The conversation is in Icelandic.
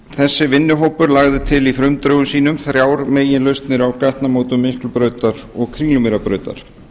þessi vinnuhópur lagði til í frumdrögum sínum þrjár meginlausnir á gatnamótum miklubrautar og kringlumýrarbrautar